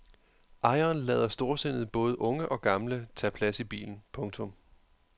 Ejeren lader storsindet både unge og gamle tage plads i bilen. punktum